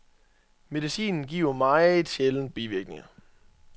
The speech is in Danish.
Medicinen giver meget sjældent bivirkninger.